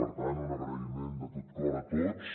per tant un agraïment de tot cor a tots